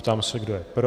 Ptám se, kdo je pro?